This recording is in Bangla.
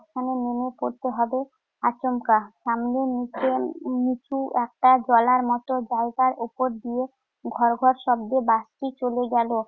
এখানে নেমে পড়তে হবে আচমকা। সামনে নিচে~ নিচু একটা জলার মত জায়গার উপর দিয়ে ঘড় ঘড় শব্দে বাসটি চলে গেল।